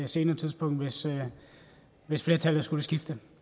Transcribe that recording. senere tidspunkt hvis flertallet skulle skifte